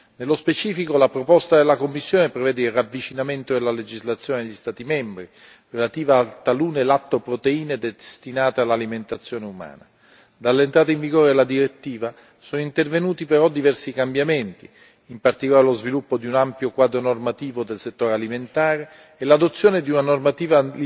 Nello specifico la proposta della Commissione prevede il ravvicinamento delle legislazioni degli Stati membri relative a talune lattoproteine destinate all'alimentazione umana. Dall'entrata in vigore della direttiva sono intervenuti però diversi cambiamenti, in particolare lo sviluppo di un ampio quadro normativo del settore alimentare e l'adozione di una normativa